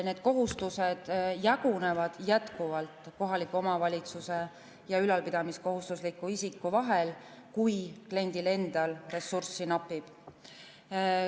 Need kohustused jagunevad jätkuvalt kohaliku omavalitsuse ja ülalpidamiskohustusliku isiku vahel, kui kliendil endal ressurssi napib.